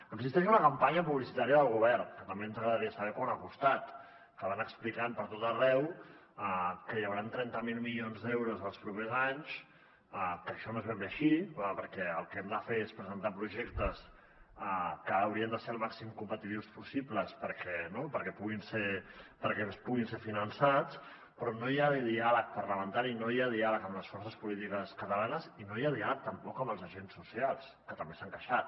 existeix una campanya publicitària del govern que també ens agradaria saber quant ha costat que van explicant per tot arreu que hi hauran trenta miler milions d’euros en els propers anys que això no és ben bé així perquè el que hem de fer és presentar projectes que haurien de ser el màxim competitius possible perquè puguin ser finançats però no hi ha diàleg parlamentari no hi ha diàleg amb les forces polítiques catalanes i no hi ha diàleg tampoc amb els agents socials que també s’han queixat